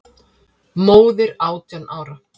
Móðir átján ára?